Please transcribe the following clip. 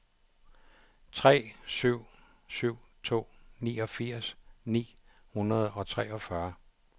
tre syv syv to niogfirs ni hundrede og treogfyrre